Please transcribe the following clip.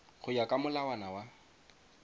go ya ka molawana wa